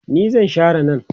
ni zan Share nan